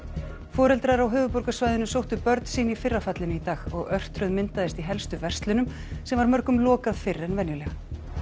foreldrar á höfuðborgarsvæðinu sóttu börnin sín í fyrra fallinu í dag og örtröð myndaðist í helstu verslunum sem var mörgum lokað fyrr en venjulega